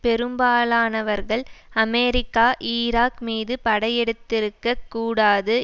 பெரும்பாலானவர்கள் America Iraq மீது படையெடுத்திருக்கக் கூடாது